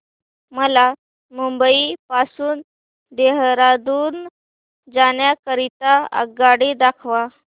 मला मुंबई पासून देहारादून जाण्या करीता आगगाडी दाखवा